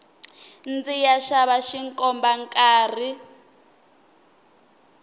ndziya xava xikomba nkarhi